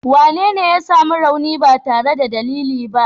Wanene ya sami rauni ba tare da dalili ba?